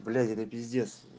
блять это пиздец